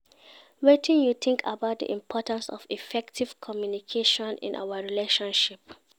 Wetin you think about di importance of effective communication in our relationship?